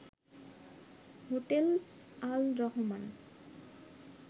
hotel Al Rahman